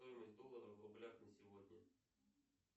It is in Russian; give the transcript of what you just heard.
стоимость доллара в рублях на сегодня